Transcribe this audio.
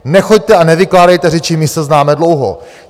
Nechoďte a nevykládejte řeči, my se známe dlouho.